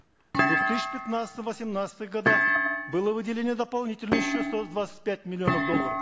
в две тысячи пятнадцатом восемнадцатых годах было выделение дополнительно еще ста двадцати пяти миллионов долларов